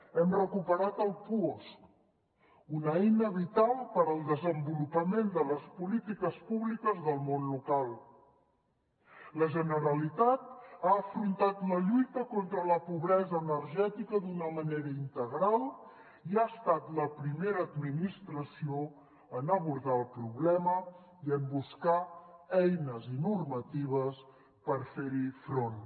hem recuperat el puosc una eina vital per al desenvolupament de les polítiques públiques del món local la generalitat ha afrontat la lluita contra la pobresa energètica d’una manera integral i ha estat la primera administració a abordar el problema i a buscar eines i normatives per fer hi front